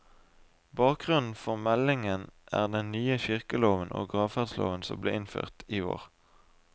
Bakgrunnen for meldingen er den nye kirkeloven og gravferdsloven som ble innført i år.